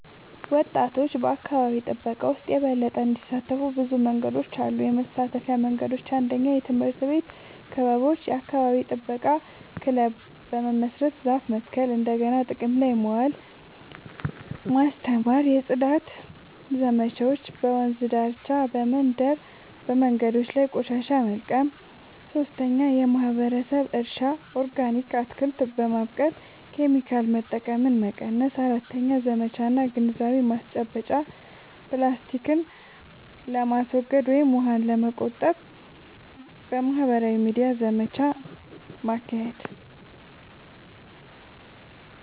ወጣቶች በአካባቢ ጥበቃ ውስጥ የበለጠ እንዲሳተፉ ብዙ መንገዶች አሉ -የመሳተፊያ መንገዶች፦ 1. የትምህርት ቤት ክበቦች – የአካባቢ ጥበቃ ክለብ በመመስረት ዛፍ መትከል፣ እንደገና ጥቅም ላይ ማዋል (recycling) ማስተማር። 2. የጽዳት ዘመቻዎች – በወንዝ ዳርቻ፣ በመንደር መንገዶች ላይ ቆሻሻ መልቀም። 3. የማህበረሰብ እርሻ – ኦርጋኒክ አትክልት በማብቀል ኬሚካል መጠቀምን መቀነስ። 4. ዘመቻ እና ግንዛቤ ማስጨበጫ – ፕላስቲክን ለማስወገድ ወይም ውሃን ለመቆጠብ በማህበራዊ ሚዲያ ዘመቻ ማካሄድ።